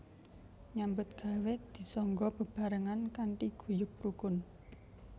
Nyambut gawé disangga bebaarengan kanthi guyub rukun